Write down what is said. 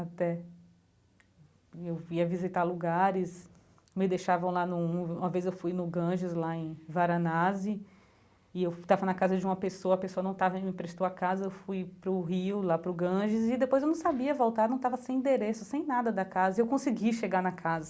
Até... Eu ia visitar lugares, me deixavam lá num, uma vez eu fui no Ganges, lá em Varanasi, e eu estava na casa de uma pessoa, a pessoa não estava e me emprestou a casa, eu fui para o rio, lá para o Ganges, e depois eu não sabia voltar, não, estava sem endereço, sem nada da casa, e eu consegui chegar na casa.